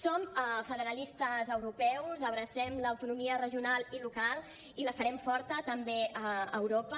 som federalistes europeus abracem l’autonomia regional i local i la farem forta també a europa